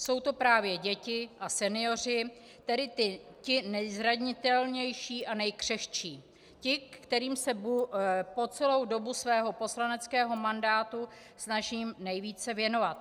Jsou to právě děti a senioři, tedy ti nejzranitelnější a nejkřehčí, ti, kterým se po celou dobu svého poslaneckého mandátu snažím nejvíce věnovat.